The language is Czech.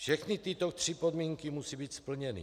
Všechny tyto tři podmínky musí být splněny.